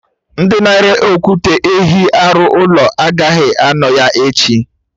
Ndị na-ere okwute ehi arụ ụlọ agaghị anọ ya echi